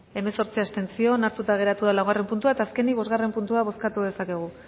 hemezortzi abstentzio onartuta geratu da laugarren puntua eta azkenik bostgarren puntua